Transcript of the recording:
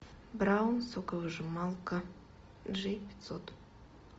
браун соковыжималка джи пятьсот